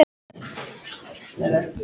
Eruð þið þarna uppi!